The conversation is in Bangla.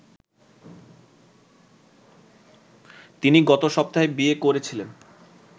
তিনি গতসপ্তাহে বিয়ে করেছিলেন